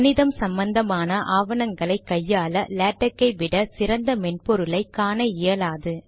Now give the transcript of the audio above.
கணிதம் சம்பந்தமான ஆவணங்களை கையாள லேடக் யை விட சிறந்த மென்பொருளை காண இயலாது